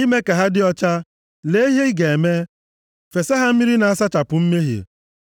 Ime ka ha dị ọcha, lee ihe ị ga-eme. Fesa ha mmiri na-asachapụ mmehie.